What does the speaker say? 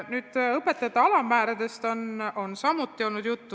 Ka õpetajate palga alammääradest on enne juttu olnud.